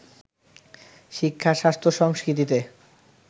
শিক্ষা-স্বাস্থ্য-সংস্কৃতিতে